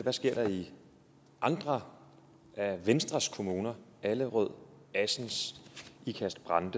der sker i andre af venstres kommuner allerød assens ikast brande